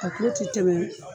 A kulo ti tɛmɛ